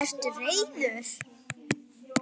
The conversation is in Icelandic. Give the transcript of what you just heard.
Ertu reiður?